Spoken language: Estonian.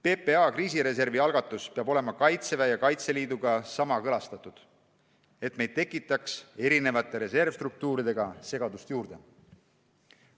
PPA kriisireservi algatus peab olema Kaitseväe ja Kaitseliiduga kooskõlastatud, et me ei tekitaks erinevate reservstruktuuridega segadust juurde.